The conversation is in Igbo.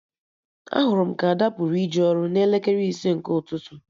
Ahụrụ m ka Ada pụrụ ije ọrụ n'elekere ise nke ụtụtụ